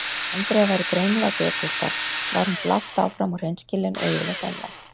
Andrea væri greinilega dekurbarn var hún blátt áfram og hreinskilin og yfirleitt einlæg.